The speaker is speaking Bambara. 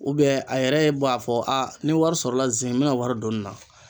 a yɛrɛ bɔ a fɔ ni wari sɔrɔla ze in n bɛ na wari don nin na.